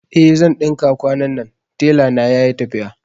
Eh zan ɗinka kwanannan, tela na yayi tafiya